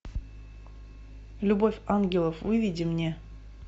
любовь ангелов выведи мне